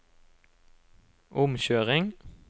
omkjøring